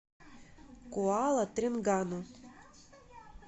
куала тренгану